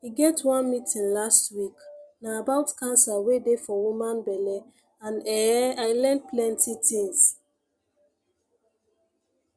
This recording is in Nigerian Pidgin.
e get one meeting last week na about cancer wey dey for woman belle and ehh i learn plenty things